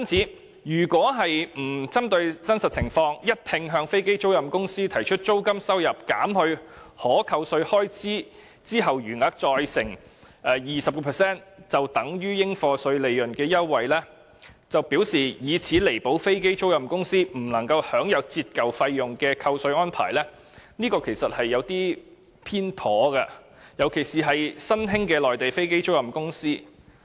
因此，如果沒有針對真實情況，而一併向飛機租賃公司提出租金收入減去可扣稅開支後的餘額，再乘以 20% 便等於應課稅利潤的優惠，並表示以此彌補飛機租賃公司不能享有折舊費用的扣稅安排，這便是有些偏頗的，特別是對於新興的內地飛機租賃公司。